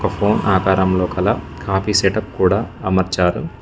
ఒక ఫోన్ ఆకారంలో కల కాఫీ సెటప్ కూడా అమర్చారు.